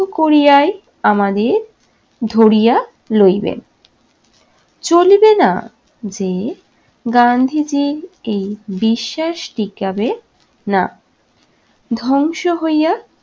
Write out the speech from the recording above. করিয়াই আমাদের ধরিয়া লইবে। চলিবে না যে গান্ধীজির এই বিশ্বাস টিকাবে না, ধ্বংস হইয়া-